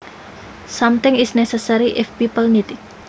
Something is necessary if people need it